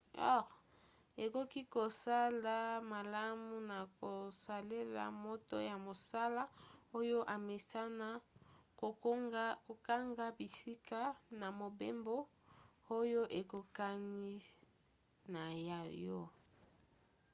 ekoki kozala malamu na kosalela moto ya mosala oyo amesana kokanga bisika na mobembo oyo ekokani na ya yo